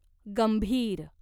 गंभीर